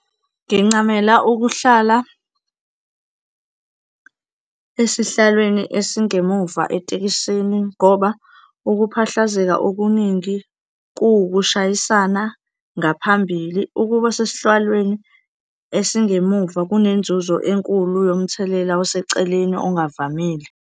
Ngincamela ukuhlala esihlalweni esingemuva etekisini ngoba ukuphahlazeka okuningi kuwukushayisana ngaphambili. Ukuba sesihlalweni esingemuva kunenzuzo enkulu yomthelela oseceleni ongavamile.